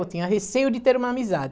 Eu tinha receio de ter uma amizade.